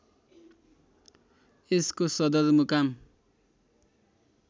यसको सदरमुकाम